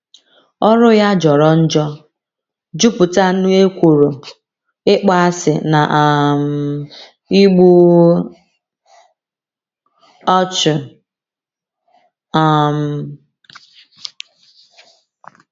Ọrụ ya jọrọ njọ, jupụta n’ekworo, ịkpọasị, na um igbu ọchụ. um